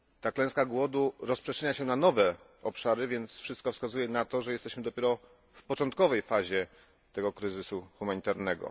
Klęska głodu rozprzestrzenia się na nowe obszary, więc wszystko wskazuje na to, że jesteśmy dopiero w początkowej fazie kryzysu humanitarnego.